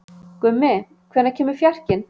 Gummi, hvenær kemur fjarkinn?